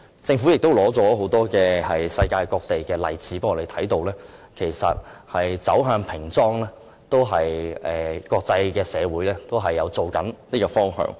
政府亦提交很多世界各地的例子，讓我們看到其實平裝是國際社會的趨向。